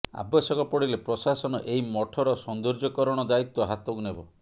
ଆବଶ୍ୟକ ପଡ଼ିଲେ ପ୍ରଶାସନ ଏହି ମଠର ସୌନ୍ଦର୍ଯ୍ୟକରଣ ଦାୟିତ୍ବ ହାତକୁ ନେବ